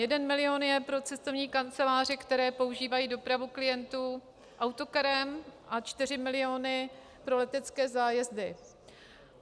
Jeden milion je pro cestovní kanceláře, které používají dopravu klientů autokarem, a čtyři miliony pro letecké zájezdy.